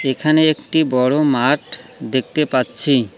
এখানে একটি বড় মাঠ দেখতে পাচ্ছি।